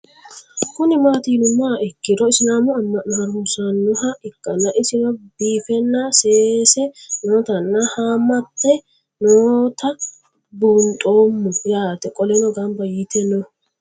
Kuni mati yinumoha ikiro isilamu ama'no harunsanoha ikana isino bifena seese nootana haamate noota bunxemo yaate qoleno gamba yite no